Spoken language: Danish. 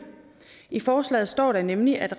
i forslaget står der nemlig at